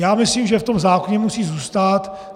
Já myslím, že v tom zákoně musí zůstat.